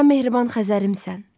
Sən mehriban Xəzərimsən.